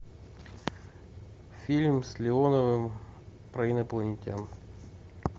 фильм с леоновым про инопланетян